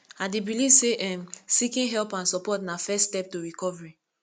i dey believe say um seeking help and support na first step to recovery